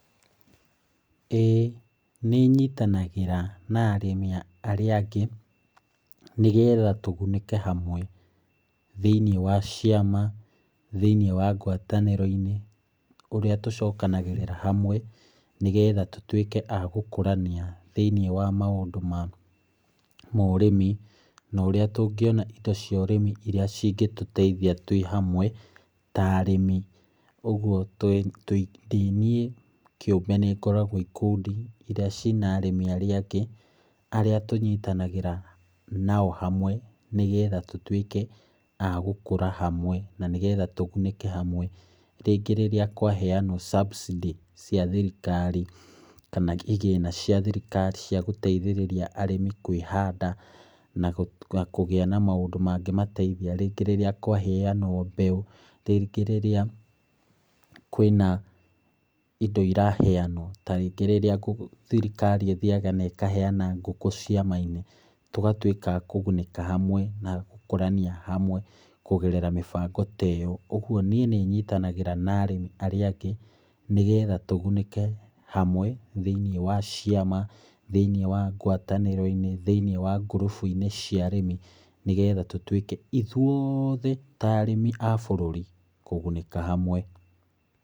ĩĩ nĩ nyitanagĩra na arĩmi arĩa angĩ, nĩgetha tũgunĩke hamwe thĩiniĩ wa ciama, thĩiniĩ wa ngwatanĩro-ini, ũrĩa tũcokanagĩrĩra hamwe, nĩgetha tũtuĩke a gũkũrania thĩiniĩ wa maũndũ ma ũrĩmi. Na ũrĩa tũngĩona indo cia ũrĩmi irĩa cingĩtũteithia twĩ hamwe ta arĩmi. Ũguo ndĩ niĩ kĩũmbe nĩ ngoragwo ikundi irĩa ciina arĩmi arĩa angĩ arĩa tũnyitanagĩra nao hamwe, nĩgetha tũtuĩke a gũkũra hamwe na nĩgetha tũgunĩke hamwe. Rĩngĩ rĩrĩa kwaheanwo subsidies cia thirikari kana igĩna cia thirikari cia gũteithĩrĩria arĩmi kwĩhanda na kũgĩa na maũndũ mangĩ mangĩmateithia. Rĩngĩ rĩrĩa kwaheanwo mbeũ, rĩngĩ rĩrĩa kwĩna indo iraheanwo, ta rĩngĩ rĩrĩa thirikari ĩthiaga na ĩkaheana ngũkũ ciama-inĩ, tũgatuĩka a kũgunĩka hamwe na gũkũrania hamwe kũgerera mĩbango ta ĩyo. Ũguo niĩ nyitanagĩra na arĩmĩ arĩa angĩ, nĩgetha tũgunĩke hamwe thĩiniĩ wa ciama, thĩiniĩ wa ngwatanĩro-inĩ, thĩiniĩ wa groups cia arĩmi, nĩgetha tũtuĩke ithuothe ta arĩmi a bũrũri kũgunĩka hamwe.